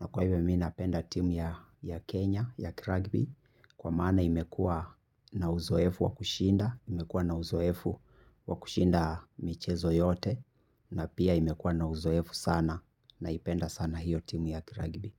Na kwa hivyo mi napenda timu ya Kenya, ya Crugby. Kwa maana imekua na uzoefu wakushinda, imekua na uzoefu wakushinda michezo yote. Na pia imekua na uzoefu sana naipenda sana hiyo timu ya Crugby.